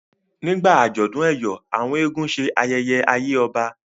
nígbà ajọdun eyọ àwọn eégún ṣe ayẹyẹ àyè ọba